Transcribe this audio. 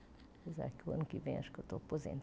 Apesar que o ano que vem acho que eu estou